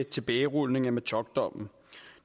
tilbagerulningen af metockdommen